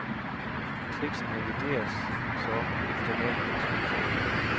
Teksten revideres så efter valget af skuespillere.